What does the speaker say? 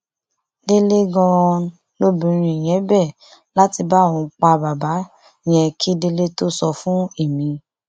délé ganan lobìnrin yẹn bẹ láti bá òun pa bàbá yẹn kí délé tóó sọ fún èmi